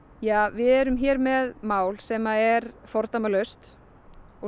við erum hér með mál sem er fordæmalaust og